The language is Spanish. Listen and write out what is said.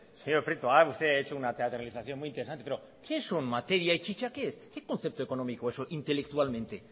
señor prieto ha hecho usted una teatralización muy interesante pero qué son materias y chicha qué concepto económico es eso intelectualmente